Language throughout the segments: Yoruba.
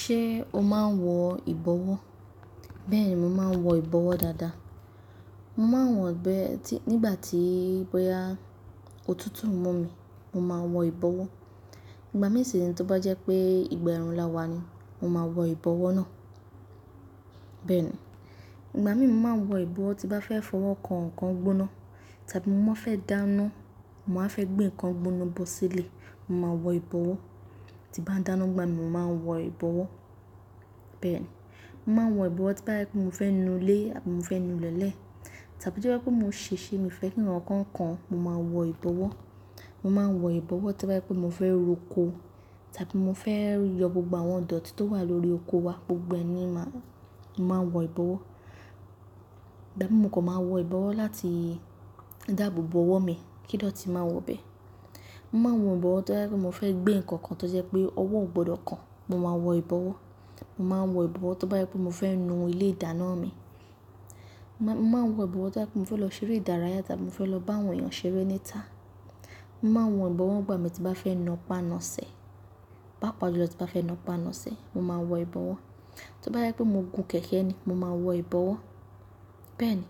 Ṣé o máa ń wọ ìbọwọ́? Bẹ́ẹ̀ni, mo máa ń wọ ìbọwọ́ dáadáa. Mo máa ń wọ bẹ́ẹ̀ nígbà tí bóyá òtútù ń mú mi, mo máa wọ ìbọwọ́. Ìgbà mìí sí re tí ó bá jẹ́ pé ìgbà ẹ̀rùn lá wà ni mo má wọ ìbọwọ́ náà. Bẹ́ẹ̀ni, ìgbà mìíràn máa wọ ìbọwọ́ tí mo bá fẹ́ fọwọ́ kan nǹkan gbóná tàbí mo má fẹ́ dáná, mo wá fẹ́ gbé nǹkan gbóná bọ́ sílẹ̀, mo máa wọ ìbọwọ́. Tí bá dáná nìgbà mìíràn máa wọ ìbọwọ́. Bẹ́ẹ̀ni, mo máa ń wọ ìbọwọ́ tí bá yẹ pé mo fẹ́ nù ilé àbí mo fẹ́ nù ilẹ̀nlẹ tàbí tí ó yẹ pé mo ń ṣèṣe, mi o fẹ́ kí nǹkan kan, mo máa wọ ìbọwọ́. Mo máa ń wọ ìbọwọ́ tí bá yẹ pé mo fẹ́ roko tàbí mo fẹ́ yọ gbogbo àwọn dọ̀tí tó wà lórí oko wa gbogbo ẹni máa, mo máa wọ ìbọwọ́. Ìgbà mìíràn mo kò máa wọ ìbọwọ́ láti dáàbò bò ọwọ́ mi, kí n ó tíì máa wọ bẹ́ẹ̀. Mo máa ń wọ ìbọwọ́ tí bá yẹ pé mo fẹ́ gbé nǹkan kan tó jẹ́ pé ọwọ́ ò gbọdọ̀ kan, mo máa wọ ìbọwọ́. Mo máa ń wọ ìbọwọ́ tí bá yẹ pé mo fẹ́ nù ilé ìdáná mi. Mo máa ń wọ ìbọwọ́ tí bá yẹ pé mo fẹ́ lọ ṣeré ìdárayá tàbí mo fẹ́ lọ bá àwọn èèyàn ṣeré níta. Mo máa ń wọ ìbọwọ́ ìgbà mìíràn tí bá fẹ́ napá-nàsẹ́, pàápàá jùlọ tí bá fẹ́ nà pá nà sẹ́, mo máa wọ ìbọwọ́. Tí bá yẹ pé mo gùn kẹ̀kẹ́ ni mo máa wọ ìbọwọ́. Bẹ́ẹ̀ni,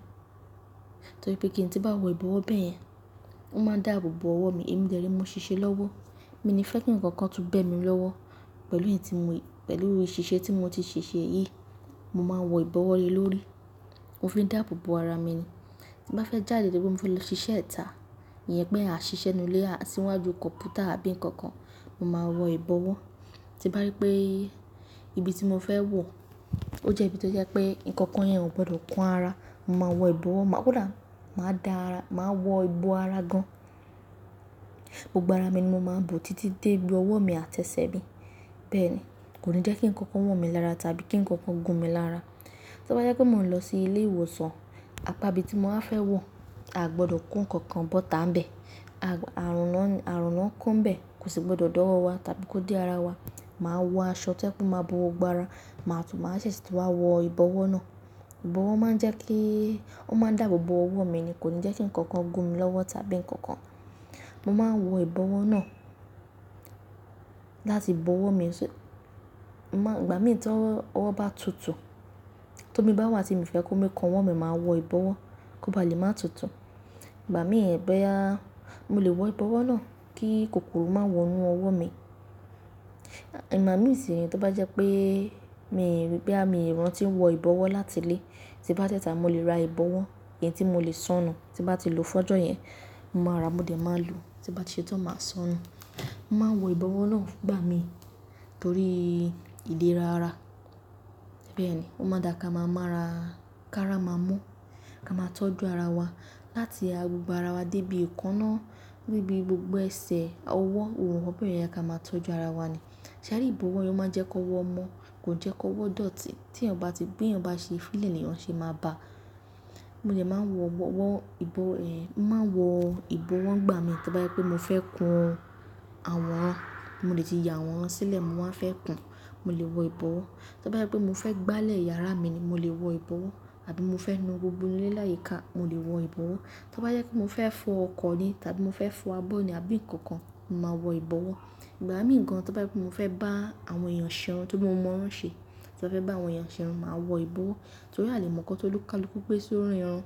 torí pé kíni tí bá wọ ìbọwọ́ bẹ́ẹ̀ yẹn, ó máa dáàbò bò ọwọ́ mi, èmi dẹ̀ rèé, mo ṣiṣẹ́ lọ́wọ́. Mi ní fẹ́ kí ǹkan kan tú bẹ́ mi lọ́wọ́ pẹ̀lú èyí tí mo, pẹ̀lú ìṣísẹ́ tí mo ti ṣèṣe yìí, mo máa wọ ìbọwọ́ le lórí. Mo fi ń dáàbò bò ara mi ni. Tí bá fẹ́ jáde torípé mo fẹ́ lọ ṣiṣẹ́ ìta, iyẹn pé à ń ṣiṣẹ́ nínú ilé, a sí níwájú kọ̀mpútà àbí ǹkan kan, mo máa wọ ìbọwọ́. Tí bá rí pé ibi tí mo fẹ́ wọ̀ ó jẹ́ ibi tó jẹ́ pé ǹkan kan yẹn ò gbọdọ̀ kán ara, mo máa wọ ìbọwọ́. Máa kò dá, máa dá ara, máa wọ ìbọ ara gan. Gbogbo ara mi ni mo máa ń bò títí dé ibi ọwọ́ mi àti ẹsẹ̀ mi. Bẹ́ẹ̀ni, kò ní jẹ́ kí ǹkan kan wọ̀ mí lára tàbí kí ǹkan kan gún mi lára. Tí bá yẹ pé mo ń lọ sí ilé ìwòsàn àpá ibi tí mo wá fẹ́ wọ̀, a gbọdọ̀ kó ǹkan kan bọ̀ tá ń bẹ. Àrùn náà ń kó ń bẹ, kò sì gbọdọ̀ dá ọwọ́ wa tàbí kó dé ara wa. Màá wọ aṣọ tí ẹ kú máa bò gbogbo ara, màá tún máa ṣẹ̀sẹ̀ sì ti wá wọ ìbọwọ́ náà. Ìbọwọ́ máa ń jẹ́ kí, ó máa ń dáàbò bò ọwọ́ mi ni, kò ní jẹ́ kí ǹkan kan gún mi lọ́wọ́ tàbí ǹkan kan mo máa ń wọ ìbọwọ́ náà láti bò ọwọ́ mi. Ìgbà mìíràn tí ọwọ́ bá tutù, tó mi bá wà tí mo fẹ́ kó mi kan ọwọ́ mi, màá wọ ìbọwọ́ kó ba lè máa tutù. Ìgbà mìíràn bẹ́ẹ̀, mo lè wọ ìbọwọ́ náà kí kòkòrò má wọ inú ọwọ́ mi. Ìgbà mìíràn sì ní tó bá jẹ́ pé mi, bí àmi ìran ti ń wọ ìbọwọ́ láti lé, tí bá dé ìta mo lè ra ìbọwọ́ èyí n tí mo lè sọnù. Tí bá ti lò fọ́jọ́ yẹn, mo máa rà, mo lè máa lò. Tí bá ti ṣe tán, màá sọnù. Mo máa ń wọ ìbọwọ́ náà ìgbà mìíràn torí ìlera ara. Bẹ́ẹ̀ni, ó máa dà ká máa mọ́ ara, ká rá máa mọ́, ká máa tọ́jú ara wa láti gbogbo ara wa dé ibi ìkanná, dé ibi gbogbo ẹsẹ̀, ọwọ́, ohun nkán bẹ́ẹ̀yẹn ó yẹ ká máa tọ́jú ara wa ni. Ṣé àbí ìbọwọ́ yẹn ó máa ń jẹ́ kó wọ́ mọ́, kò jẹ́ kó wọ́ dọ̀tí tí ẹ̀yin ò bá ti gbé, ẹ̀yin ò bá ṣe fílẹ̀ ni ẹ̀yin ṣe máa bá. Mo dẹ́ máa ń wọ ìbọwọ́ ìgbà mìíràn, mo máa ń wọ ìbọwọ́ ìgbà mìíràn tí bá yẹ pé mo fẹ́ kun àwòrán, mo lè ti ya àwòrán sílẹ̀, mo wáa fẹ́ kun, mo lè wọ ìbọwọ́. Tí bá yẹ pé mo fẹ́ gbálẹ̀ yàrá mi ni mo lè wọ ìbọwọ́ àbí mo fẹ́ nù gbogbo ilé láyìíká, mo lè wọ ìbọwọ́. Tí bá yẹ pé mo fẹ́ fọ ọkọ̀ ni tàbí mo fẹ́ fọ abọ́ ni àbí ǹkan kan, mo máa wọ ìbọwọ́. Ìgbà mìíràn gan tí bá yẹ pé mo fẹ́ bá àwọn èèyàn ṣe ohun tó mọ̀ọ́rán ṣe tàbí fẹ́ bá àwọn èèyàn ṣe ohun, màá wọ ìbọwọ́. Torí àlè mọ̀ọ́ nkán tó ni kálukú gbé sórí irun,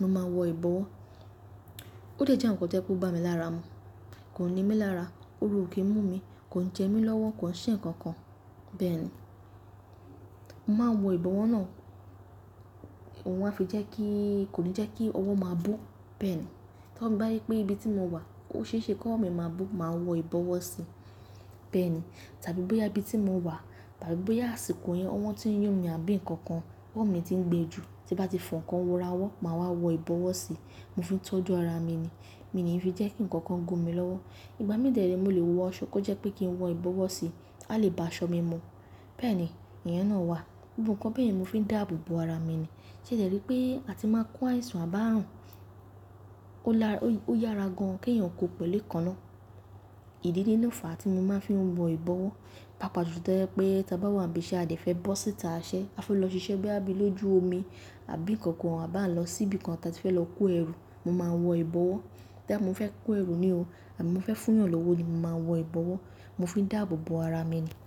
mo máa wọ ìbọwọ́. Ó jẹ́ ǹkan tó yẹ kó bá mi lára mu, kò ni mí lára, òru ò kí n mú mi, kò ń jẹ mí lọ́wọ́, kò ń ṣe ǹkan kan. Bẹ́ẹ̀ ni, mo máa ń wọ ìbọwọ́ náà, òun a fi jẹ́ kí, kò ní jẹ́ kí ọwọ́ máa bó. Bẹ́ẹ̀ni, tí mo bá rí pé ibi tí mo wà ó ṣeéṣe kọ́wọ́ mi máa bó, màá wọ ìbọwọ́ sí. Bẹ́ẹ̀ni, tàbí bóyá ibi tí mo wà tàbí bóyá àsìkò yẹn ọwọ́ tí ń yún mi àbí ǹkan kan, ọwọ́ mi ti ń gbẹ jù tí bá ti fọ ǹkan ra ọwọ́, màá wá wọ ìbọwọ́ sí. Mo fi ń tọ́jú ara mi ni. Mi níì fi jẹ́ kí ǹkan kan gún mi lọ́wọ́. Ìgbà mìíràn dẹ̀ rèé mo lè wọ aṣọ kó jẹ́ pé kí n wọ ìbọwọ́ sí, a lè bá aṣọ mi mu. Bẹ́ẹ̀ni, ìyẹn náà wà. Gbogbo ǹkan bẹ́ẹ̀ ni mo fi ń dáàbò bò ara mi ni. Ṣé ẹ dẹrí pé a ti máa ń kó àìsàn àb'ààrùn, ó yára gan kéèyàn kó pẹ̀lú èékánná. Ìdí ní ló fàá tí mo máa ń fi wọ ìbọwọ́. Pàápàá jù tó jẹ́ pé tí a bá wà níbi iṣẹ́ a dẹ̀ fẹ́ bọ́ síta iṣẹ́, a fẹ́ lọ ṣiṣẹ́ bóyá bí lójú omi àbí ǹkan kan, a bá ń lọ sí ibi kan tí a ti fẹ́ lọ kó ẹrù, mo máa ń wọ ìbọwọ́. Bóyá mo fẹ́ kó ẹrù ni o àbí mo fẹ́ fún èèyàn lówó ni, mo máa ń wọ ìbọwọ́. Mo fi ń dáàbò bò ara mi ni.